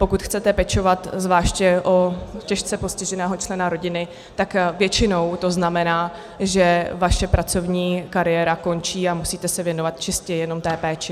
Pokud chcete pečovat o zvláště těžce postiženého člena rodiny, tak většinou to znamená, že vaše pracovní kariéra končí a musíte se věnovat čistě jenom té péči.